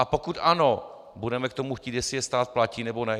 A pokud ano, budeme k tomu chtít, jestli je stát platí, nebo ne?